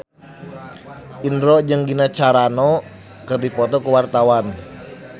Indro jeung Gina Carano keur dipoto ku wartawan